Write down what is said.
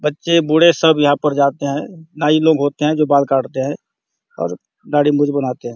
बच्चे बूढ़े सब लोग यहाँ पर जाते है नाइ लोग होते हैं जो बाल काटते है और दाढ़ी मुछ बनाते हैं।